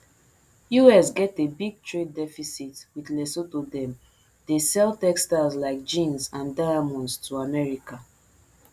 us get a big trade deficit wit lesotho dem dey sell textiles like jeans and diamonds to america